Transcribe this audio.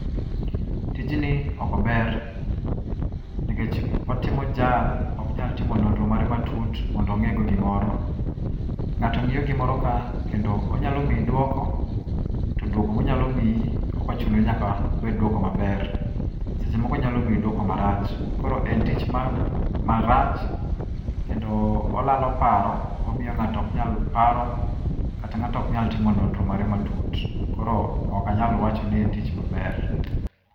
Tijni okober, nikech otimo jal oknyal timo nonro mare matut mondo ongé go gimoro. Ngáto ngíyo gimoro ka kendo, onyalo mii dwoko, to dwoko ma onyalo mii okochuno ni nyaka obed duoko maber. Seche moko onyalo mii dwoko marach. Koro en tich ma, marach, kendo olalo paro, omiyo ngáto ok nyal paro, kata ngáto oknyal timo nonro mare matut. Koro okanyal wacho ni en tich maber.